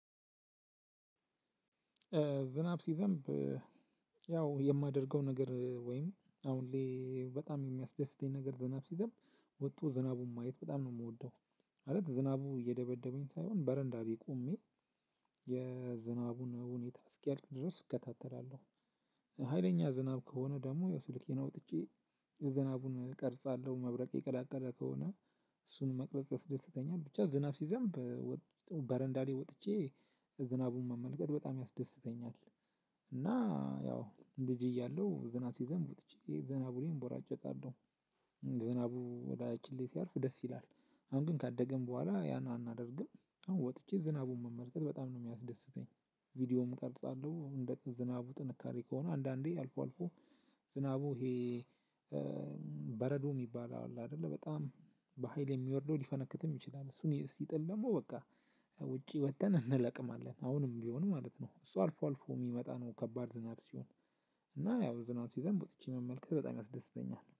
ዝናብ ሲዘንብ ያው የማደርገው ነገር ወይም አሁን ላይ በጣም የሚያስደስተኝ ነገር ዝናብ ሲዘንብ ወቶ ዝናቡን ማየት በጣም ነው የምወደው። ማለት ዝናቡ እየደበደበኝ ሳይሆን በረንዳ ላይ ቆሜ የዝናቡን ሁኔታ እስኪያልቅ ድረስ እከታተላለሁ። ሀይለኛ ዝናብ ከሆነ ደግሞ ያው ስልኬን አውጥቼ የዝናቡን እቀርጻለሁ መብረቅ የቀላቀለ ከሆነ እሱን መቅረጽ ያስደስተኛል። ብቻ ዝናብ ሲዘንብ በረንዳ ላይ ወጥቼ ዝናቡን መመልከት በጣም ያስደስተኛል። እና ያው ልጅ እያለሁ ዝናብ ሲዘንብ ወጥቼ ዝናቡ ላይ እቦራጨቃለው ዘናቡ እላያችን ላይ ሲያርፍ ደስ ይላል። አሁን ግን ካደገን በኋላ ያን አናደርግም። አሁን ወጥቼ ዝናቡን መመልከት በጣም ነው የሚያስደስተኝ። ቪዲዮም ቀርጻለሁ እንደ ዝናቡ ጥንካሬ ከሆነ አንዳንዴ አልፎ አልፎ። ዝናቡ ይሄ በረዶ የሚባል አለ አይደለ በጣም በሃይል የሚወርደው ሊፈነክትም ይችላል። እሱን ሲጥል ደግሞ በቃ ውጪ ወጥተን እንለቅማለን። አሁንም ቢሆንም ማለት ነው እሱ አልፎ አልፎ የሚመጣ ነው። ከባድ ዝናብ ሲሆን እና ያው ዝናብ ሲዘንብ ወጥቼ መመልከት በጣም ያስደስተኛል